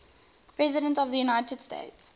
presidents of the united states